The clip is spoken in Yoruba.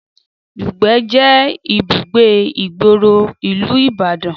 Dùgbẹ̀ jé ibùgbé ìgboro ìlú ní ìbàdàn